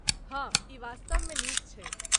हाँ ,ई वास्तवमे नीक छै।